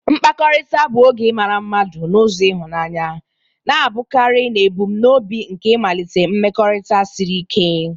Mkpakọrịta bụ oge ịmara mmadụ n'ụzọ ịhụnanya, na-abụkarị n'ebumnobi nke ịmalite mmekọrịta siri ike.